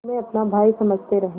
तुम्हें अपना भाई समझते रहे